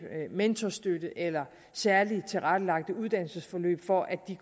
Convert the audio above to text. mentorstøtte eller særligt tilrettelagte uddannelsesforløb for at de